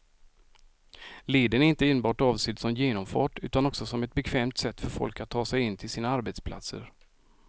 Leden är inte enbart avsedd som genomfart utan också som ett bekvämt sätt för folk att ta sig in till sina arbetsplatser.